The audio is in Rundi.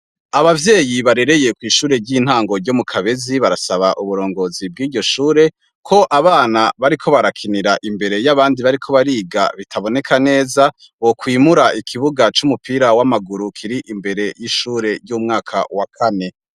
Abavyeyi barereye kw'ishure ry'intango ryo mu Kabezi, barasaba uburongozi bwiryo shure, ko abana bariko barakinira imbere y'abandi bariko bariga bitaboneka neza, bokwimura ikibuga c'umupira w'amaguru kiri imbere ry'ishure ry'umwaka wa Kane.